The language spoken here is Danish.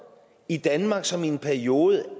i danmark som i en periode